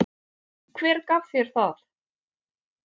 Hver gaf þér það?